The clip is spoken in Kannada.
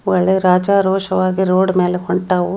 ಒಳ್ಳೆ ರಾಜಾರೋಷವಾಗಿ ರೋಡ್ ಮೇಲೆ ಹೊಂಟಾವು.